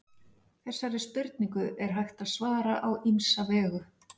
Þessari spurningu er hægt að svara á ýmsa vegu.